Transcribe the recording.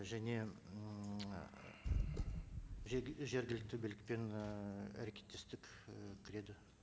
және ммм жергілікті билікпен ііі әрекеттестік і кіреді